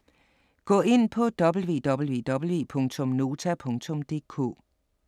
Gå ind på www.nota.dk